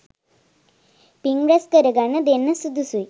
පිං රැස් කරගන්න දෙන්න සුදුසුයි.